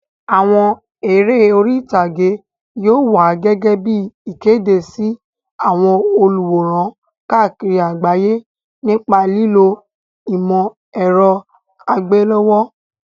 Àwọn eré orí ìtàgé yóò wá gẹ́gẹ́ bí ìkéde sí àwọn olùwòran káàkiri àgbáyé nípa lílo ìmọ̀ ẹ̀rọ àgbéléwò.